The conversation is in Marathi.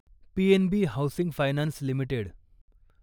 PNB housing finance limited